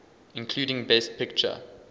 including best picture